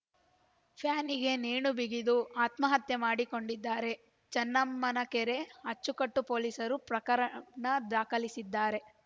ಫ್ಯಾನಿಗೆ ನೇಣುಬಿಗಿದು ಆತ್ಮಹತ್ಯೆ ಮಾಡಿಕೊಂಡಿದ್ದಾರೆ ಚೆನ್ನಮ್ಮನಕೆರೆ ಅಚ್ಚುಕಟ್ಟು ಪೊಲೀಸರು ಪ್ರಕರಣ ದಾಖಲಿಸಿದ್ದಾರೆ